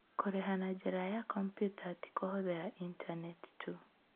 Kũrĩha na njĩra ya kompiuta ti kũhũthĩra Intaneti tu.